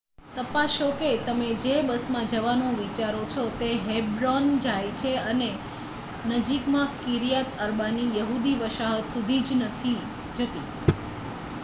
તપાસો કે તમે જે બસમાં જવાનું વિચારો છો તે હેબ્રોન જાય છે અને નજીકમાં કિર્યાત અર્બાની યહૂદી વસાહત સુધી જ નથી જતી